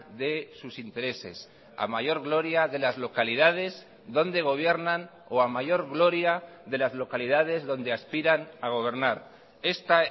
de sus intereses a mayor gloria de las localidades donde gobiernan o a mayor gloria de las localidades donde aspiran a gobernar esta